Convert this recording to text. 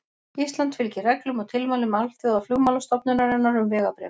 Ísland fylgir reglum og tilmælum Alþjóðaflugmálastofnunarinnar um vegabréf.